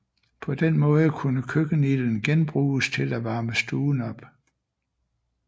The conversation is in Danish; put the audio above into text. På den måde kunne køkkenilden genbruges til at varme stuen op